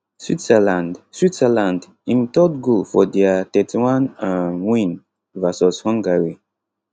switzerland switzerland im 3rd goal for dia 31 um win vs hungary